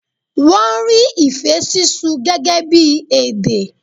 Wọ́n rí ìfé sísú gẹ́gẹ́ bí èdè.